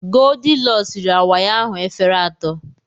Goldilọks riri awaị ahụ efere atọ.